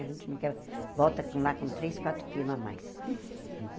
A gente não quer... Volta lá com três, quatro quilos a mais.